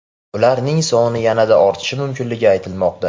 Ularning soni yanada ortishi mumkinligi aytilmoqda.